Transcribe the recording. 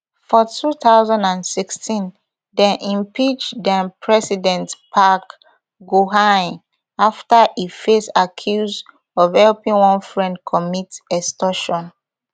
for two thousand and sixteen dem impeach denpresident park geunhye afta e face accuse of helping one friend commit extortion